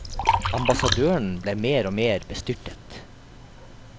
Ambassadøren ble mer og mer bestyrtet.